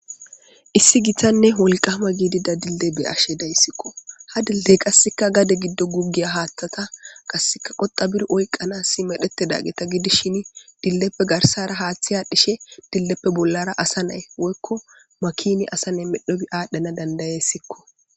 Issi gitanne wolqama giidida dille be ashe dayssikko ha dille qasseka gade giddo gugiya haaththata qasseka qoxa bir oyqanassi medhete da geta gidi shin dilleppe garsara haaththiya dhishe dilleppe bollara asa nay woykko makini asa nay medhobi aadhdhana dandayessikko.